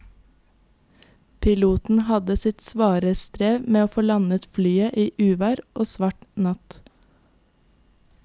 Piloten hadde sitt svare strev med å få landet flyet i uvær og svart natt.